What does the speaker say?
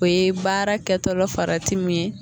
O ye baara kɛtɔlɔ farati min ye.